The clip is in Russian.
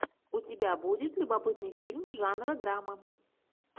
у тебя будет любопытный фильм жанра драма